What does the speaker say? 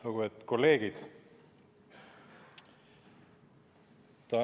Lugupeetud kolleegid!